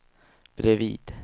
bredvid